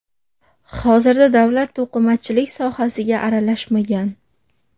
Hozirda davlat to‘qimachilik sohasiga aralashmagan.